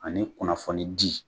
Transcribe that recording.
Ani kunnafoni di